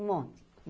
Um monte.